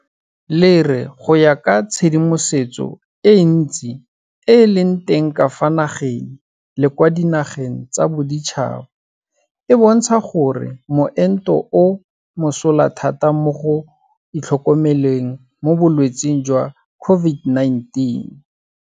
le re go ya ka tshedimosetso e ntsi e e leng teng ka fa nageng le kwa dinageng tsa boditšhaba e bontsha gore moento o mosola thata mo go itlhokomeleng mo bolwetseng jwa COVID19.